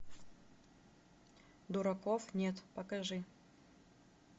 дураков нет покажи